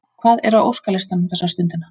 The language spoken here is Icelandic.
Hvað er á óskalistanum þessa stundina?